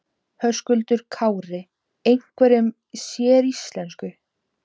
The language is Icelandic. Höskuldur Kári: Einhverju séríslensku?